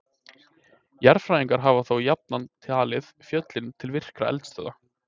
Jarðfræðingar hafa þó jafnan talið fjöllin til virkra eldstöðva.